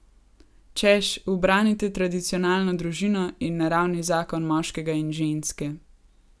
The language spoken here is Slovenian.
Češ, ubranite tradicionalno družino in naravni zakon moškega in ženske.